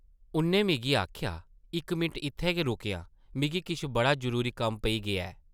उʼन्नै मिगी आखेआ, इक मिंट इत्थै गै रुकेआं मिगी किश बड़ा जरूरी कम्म पेई गेआ ऐ ।